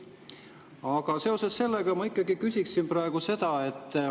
Aga seoses sellega ma ikkagi küsiksin praegu seda.